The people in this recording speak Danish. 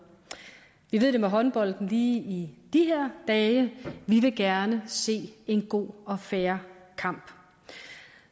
vi ved det med håndbolden lige i de her dage vi vil gerne se en god og fair kamp